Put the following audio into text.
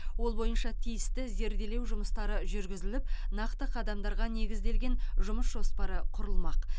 ол бойынша тиісті зерделеу жүмыстары жүргізіліп нақты қадамдарға негізделген жұмыс жоспары құрылмақ